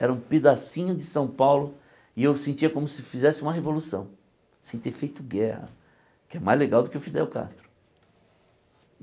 Era um pedacinho de São Paulo e eu sentia como se fizesse uma revolução, sem ter feito guerra, que é mais legal do que o Fidel Castro.